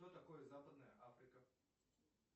что такое западная африка